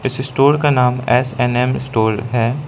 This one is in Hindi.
इस स्टोर का नाम एस_एन_एम स्टोर है।